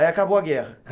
Aí acabou a guerra?